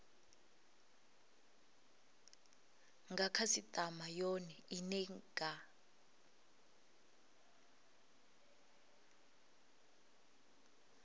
nga khasitama yone ine nga